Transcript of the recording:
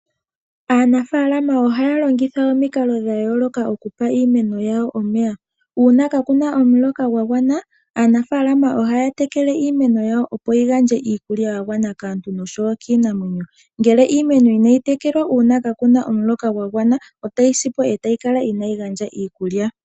Aanafaalama oyendji ohaya longitha omikalo dha yooloka okupa iimeno yawo omeya. Uuna kaaku na omuloka gwa gwana, aanafaalama ohaya tekele iimeno yawo opo yi gandje iikulya yagwana kaantu noshowo kiinamwenyo. Ngele iimeno inayi tekelwa uuna kaaku na omuloka gwa gwana, otayi si po etayi kala inaayi gandja iikulya.